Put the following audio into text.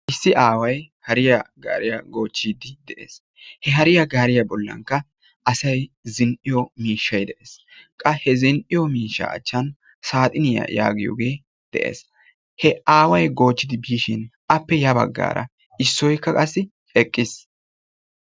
Issi aaway hariya gaariyaa goochchide de'ees. He hariyaa gaariya bollankka asay zin"iyo miishshay de'ees. Qa he zin"iyo miishsha achchankka saaxiniya giyooge de'ees. He aaway goochchidi aappekka yabaggara issoykka qassi eqqiis.